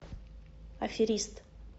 аферист